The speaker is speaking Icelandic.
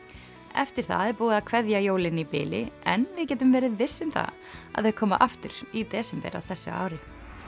eftir það er búið að kveðja jólin í bili en við getum verið viss um að þau koma aftur í desember á þessu ári